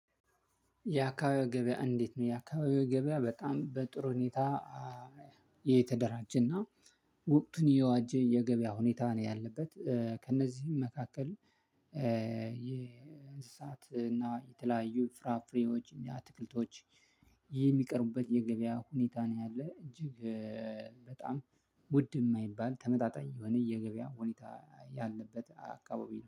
የአካባቢው ገበያ እንዴት ነው? የአካባቢው ገበያ በጣም በጥሩ ሁኔታ የተደራጀና ወቅቱን የዋጀ የገበያ ሁኔታ ነው ያለበት። ከእነዚህም መካከል። የእንስሳት እና የተለያዩ ፍራፍሬዎች እና አትክልቶች ይህ የሚቀርቡበት የገበያ ሁኔታ ነው ያለ። እጅግ በጣም ውድ የማይባል ተመጣጣኝ የሆነ የገበያ ሁኔታ ያለበት አካባቢ